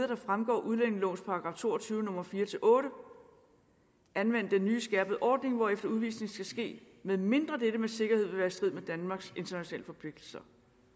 der fremgår af udlændingelovens § to og tyve nummer fire otte anvende den nye skærpede ordning hvorefter udvisning skal ske medmindre dette med sikkerhed vil være i strid med danmarks internationale forpligtelser